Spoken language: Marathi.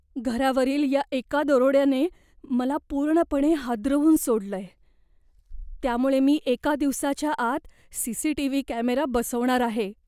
घरावरील या एका दरोड्याने मला पूर्णपणे हादरवून सोडलंय, त्यामुळे मी एका दिवसाच्या आत सी.सी.टी.व्ही. कॅमेरा बसवणार आहे.